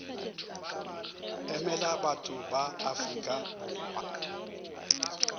emela batho ba afrika borwa